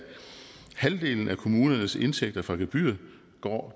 halvdelen af kommunernes indtægter fra gebyrer går